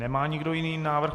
Nemá nikdo jiný návrh.